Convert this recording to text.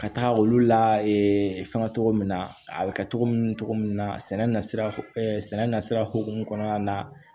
Ka taa olu la fɛngɛ cogo min na a be kɛ togo min na cogo min na sɛnɛ na sira sɛnɛ na sira hokumu kɔnɔna na